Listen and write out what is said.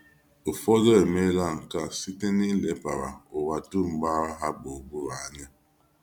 Ụfọdụ emeela nke a naanị site n’ilebara ụwa dum gbara ha gburugburu anya.